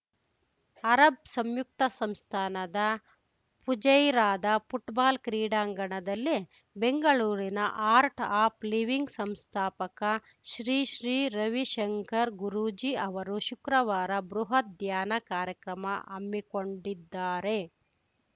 Arab ಸಂಯುಕ್ತ ಸಂಸ್ಥಾನದ ಫುಜೈರಾದ ಫುಟ್ಬಾಲ್‌ ಕ್ರೀಡಾಂಗಣದಲ್ಲಿ ಬೆಂಗಳೂರಿನ ಆರ್ಟ್‌ ಆಫ್‌ ಲಿವಿಂಗ್‌ ಸಂಸ್ಥಾಪಕ ಶ್ರೀ ಶ್ರೀ ರವಿಶಂಕರ್‌ ಗುರೂಜಿ ಅವರು ಶುಕ್ರವಾರ ಬೃಹತ್‌ ಧ್ಯಾನ ಕಾರ್ಯಕ್ರಮ ಹಮ್ಮಿಕೊಂಡಿದ್ದಾರೆ